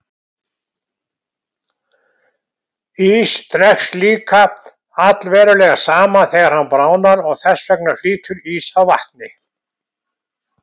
Ís dregst líka allverulega saman þegar hann bráðnar og þess vegna flýtur ís á vatni.